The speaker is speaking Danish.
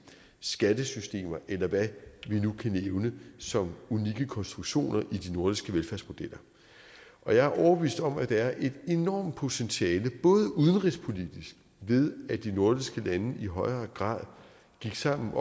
skattesystemer eller hvad vi nu kan nævne som unikke konstruktioner i de nordiske velfærdsmodeller jeg er overbevist om at være et enormt potentiale udenrigspolitisk ved at de nordiske lande i højere grad gik sammen